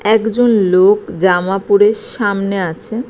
একজন লোক জামা পরে সা-ম-নে-এ আছে।